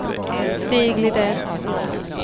Stig Lidén